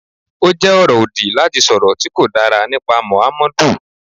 Ó jẹ́ ọ̀rọ̀ òdì láti sọ̀rọ̀ tí kò dára nípa Mọ̀hámọ́dù.